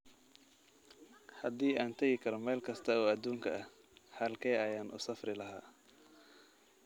Haddii aan tagi karo meel kasta oo adduunka ah, halkee ayaan u safri lahaa?